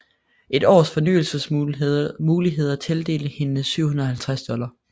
Et års fornyelsesmuligheder tildelte hende 750 dollars